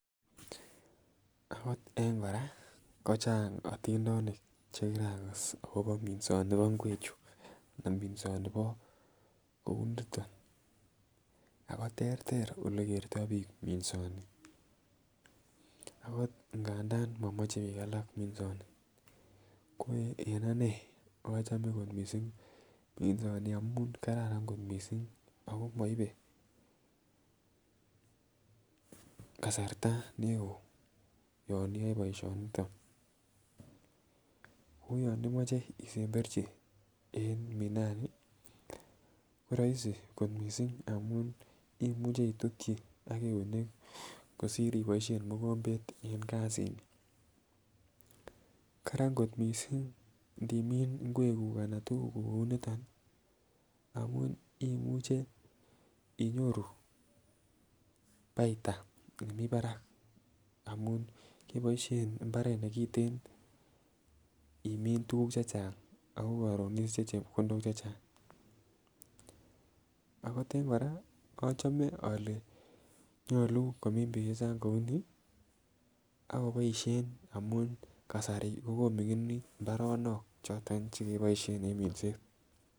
Akot eng kora kochang otindonik chekirakas akobo minsonibo ngwechu anan minsonibo kouniton ako terter olekertoo biik minsoni. Akot ngandan momoche biik minsoni ko en anee achome kot missing amun kararan kot missing ako moibe kasarta neoo yon iyoe boisioniton. Ako yon imoche isemberchi en minani koroisi kot missing amun imuche itutyi ak eunek kosir iboisien mogombet en kasit ni, Karan kot missing ndimin ngwek kuk anan tuguk kuk kou niton ih amun imuche inyoru baitha nemii barak amun keboisien mbaret nekiten imin tuguk chechang ako koron isiche chepkondok chechang. Ako eng kora achome ole nyolu komin biik chechang kounii akoboisien amun kasari kokoming'init mbaronok choton chekeboisien en minset